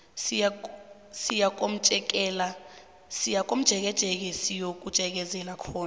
siyakomjekejeke siyojekezela khona